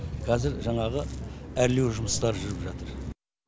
қазір жаңағы әрлеу жұмыстары жүріп жатыр